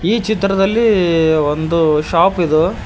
ಈ ಚಿತ್ರದಲ್ಲಿ ಒಂದು ಶಾಪ್ ಇದು.